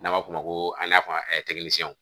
N'an b'a f'o ma n'a fɔ